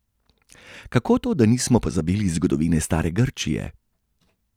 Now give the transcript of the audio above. Kako to, da nismo pozabili zgodovine stare Grčije?